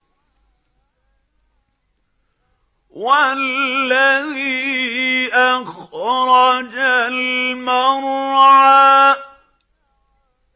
وَالَّذِي أَخْرَجَ الْمَرْعَىٰ